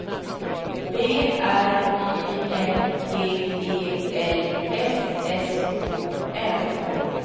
B R Y N G E L S S O N